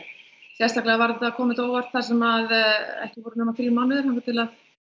sérstaklega kom þetta á óvart þar sem ekki voru nema þrír mánuðir þar til